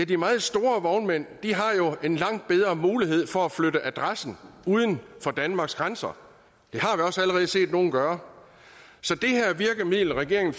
de meget store vognmænd har jo en langt bedre mulighed for at flytte adressen uden for danmarks grænser og også allerede set nogle gøre så det her virkemiddel regeringen